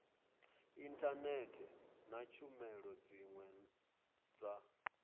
inthanethe na tshumelo dziwe dza